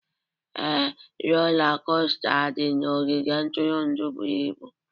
Ee, rola kosta dị na ogige ntụrụndụ buru ibu